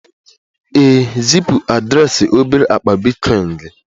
ee, zipu adreesị obere akpa bitcoin gị